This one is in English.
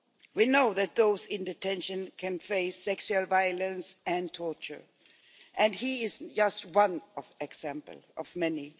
We know that those in detention can face sexual violence and torture, and he is just one example of many.